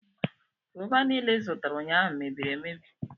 Gova niile ịzụtara ụnyaahụ mebiri emebi.